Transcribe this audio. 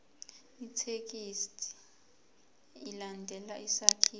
ithekisthi ilandele isakhiwo